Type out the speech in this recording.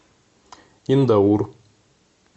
индаур